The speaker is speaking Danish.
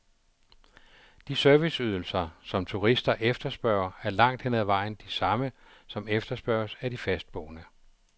De serviceydelser, som turister efterspørger, er langt hen ad vejen de samme, som efterspørges af de fastboende.